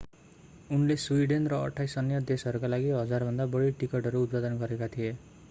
उनले स्वीडेन र 28 अन्य देशहरूका लागि 1,000भन्दा बढी टिकटहरू उत्पादन गरेका थिए